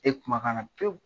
E kuma ka nna fiyewu .